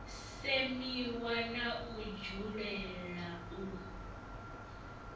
semiwa na u dzulela u